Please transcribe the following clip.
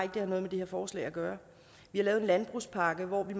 det har noget med det her forslag at gøre vi har lavet en landbrugspakke hvor vi